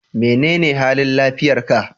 Menene halin lafiyar ka?